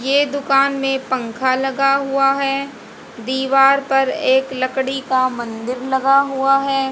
ये दुकान में पंखा लगा हुआ है दीवार पर एक लकड़ी का मंदिर लगा हुआ है।